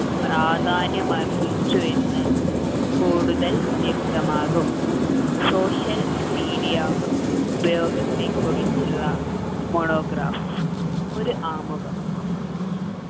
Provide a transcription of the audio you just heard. പ്രാധാന്യം അർഹിച്ചു എന്ന് കൂടുതൽ വ്യക്തമാകും social media ഉപയോഗത്തെക്കുറിച്ചുള്ള monograph ഒരു ആമുഖം